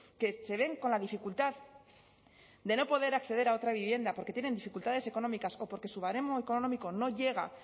que se ven con la dificultad de no poder acceder a otra vivienda porque tienen dificultades económicas o porque su baremo económico no llega